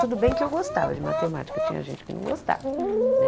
Tudo bem que eu gostava de matemática, tinha gente que não gostava, né?